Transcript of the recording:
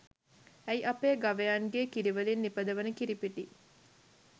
ඇයි අපේ ගවයන්ගේ කිරිවලින් නිපදවන කිරිපිටි